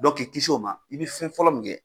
k'i kisi o ma i bɛ fɛn fɔlɔ min kɛ,